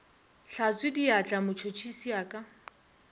hlatswe diatla motšhotšhisi a ka